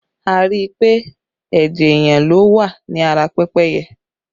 A rí i pé ẹ̀jẹ̀ èèyàn ló wà ní ara pẹ́pẹ́yẹ